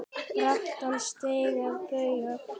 brattan stíg að baugi